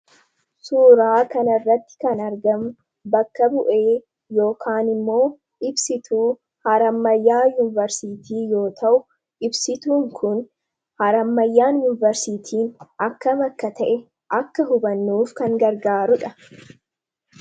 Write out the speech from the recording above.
suuraa kan irratti kan argam bakka bu'ee yookaan immoo ibsituu harammayyaa yuuniversitii yoo ta'u ibsituun kun harammayyaan yuuniversitiin akka makka ta'e akka hubannuuf kan gargaarudha